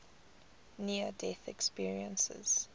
near death experiences